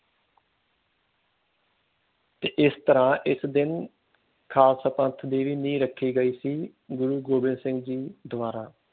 ਤੇ ਏਸ ਤਰ੍ਹਾਂ ਇਸ ਦਿਨ ਖਾਲਸਾ ਪੰਥ ਦੇ ਵੀ ਨੀਂਹ ਰੱਖੀ ਗਈ ਸੀ ਗੁਰੂ ਗੋਬਿੰਦ ਸਿੰਘ ਜੀ ਦੁਆਰਾ